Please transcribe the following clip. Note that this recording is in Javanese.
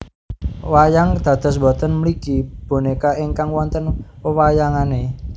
Wayang dados boten mligi bonéka ingkang wonten wewayangané